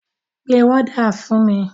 Pe wọ́dà fún mi!